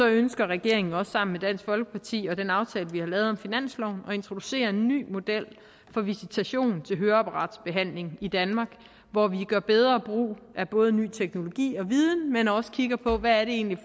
ønsker regeringen også sammen med dansk folkeparti og den aftale vi har lavet om finansloven at introducere en ny model for visitation til høreapparatbehandling i danmark hvor vi gør bedre brug af både ny teknologi og viden men også kigger på hvad det egentlig